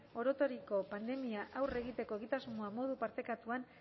orotariko pandemiei aurre egiteko egitasmoa modu partekatuan